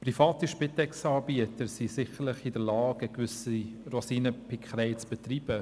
Private Spitex-Anbieter sind sicherlich in der Lage, eine gewisse Rosinenpickerei zu betreiben.